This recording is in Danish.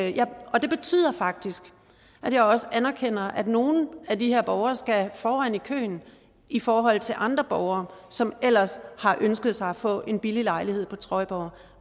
og det betyder faktisk at jeg også anerkender at nogle af de her borgere skal foran i køen i forhold til andre borgere som ellers har ønsket sig at få en billig lejlighed på trøjborg